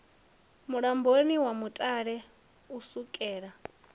mulamboni wa mutale u sukela